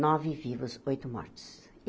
Nove vivos, oito mortos.